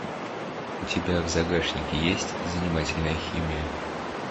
у тебя в загашнике есть занимательная химия